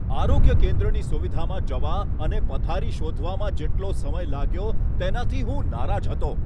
આરોગ્ય કેન્દ્રની સુવિધામાં જવા અને પથારી શોધવામાં જેટલો સમય લાગ્યો, તેનાથી હું નારાજ હતો.